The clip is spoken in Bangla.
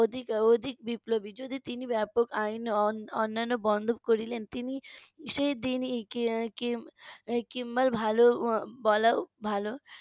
অধিক বিপ্লবী যদি তিনি ব্যাপক আইন অন্যান্য বন্ধ করিলেন তিনি সে দিনই কিন~ কিন~ কিংবা ভাল বলা ভাল